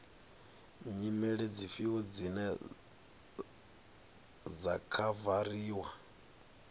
nyimele dzifhio dzine dza khavariwa